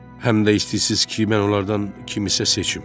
Həm də istəyirsiniz ki, mən onlardan kiminsə seçim?